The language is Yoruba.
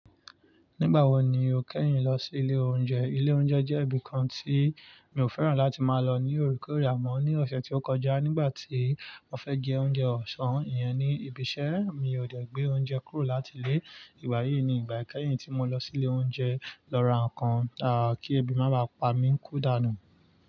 Nígbà wo ni o kẹ́yìn lọ sí ilé oúnjẹ? Ilé oúnjẹ jẹ́ ibi kan tí mi ò fẹ́ràn láti máa lọ ní òorekore àmọ́ ní ọ̀sẹ̀ tí ó kọjá nígbà tí mo fẹ́ jẹ oúnjẹ ọ̀sán, ìyẹn ni, ibi iṣẹ́, mi ò dè gbé oúnjẹ kúrò láti ilé. Ìgbà yìí ni ìgbà ìkẹ́yìn tí mo lọ sí ilé oúnjẹ. Lọ ra ǹkan táà kí ebi má bà pa mí kú dànù.